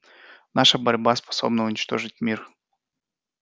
наша борьба способна уничтожить мир